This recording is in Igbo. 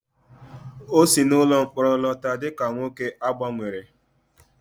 O si n'ụlọ mkpọrọ lọta dị ka nwoke a gbanwere